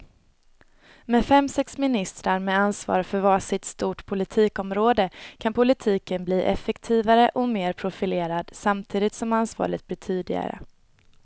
Med fem, sex ministrar med ansvar för var sitt stort politikområde kan politiken bli effektivare och mer profilerad samtidigt som ansvaret blir tydligare.